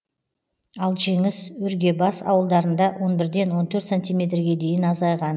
ал жеңіс өргебас ауылдарында он бірден он төрт сантиметрге дейін азайған